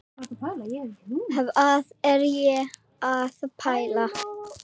Hvað var ég að pæla?